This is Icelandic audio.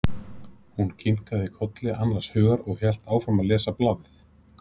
Hún kinkaði kolli annars hugar og hélt áfram að lesa blaðið.